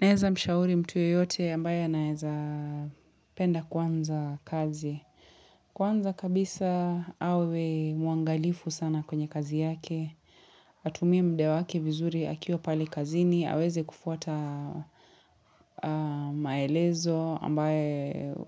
Naeza mshauri mtu yeyote ambaye anaeza penda kuanza kazi. Kwanza kabisa awe muangalifu sana kwenye kazi yake. Atumie mda wake vizuri akiwa pale kazini, aweze kufuata maelezo ambayo